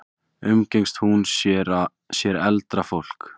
Umgengst hún sér eldra fólk?